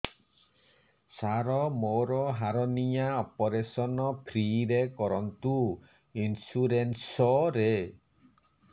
ସାର ମୋର hernia operation free ରେ କରନ୍ତୁ ଇନ୍ସୁରେନ୍ସ ରେ